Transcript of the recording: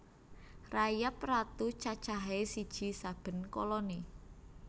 Rayap ratu cacahé siji saben koloni